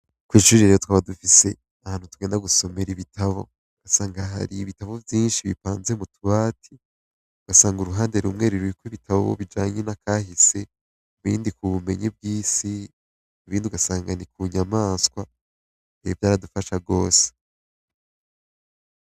Kw'ishuri rero twaba dufise ahantu tugenda gusomera ibitabo ugasanga hari ibitabo vyinshi bipanze mu tubati, ugasanga uruhande rumwe ruriko ibitabo bijanye na kahise, ibindi ku bumenyi bw'isi, ibindi ugasanga ni ku nyamaswa, vyaradufasha gose.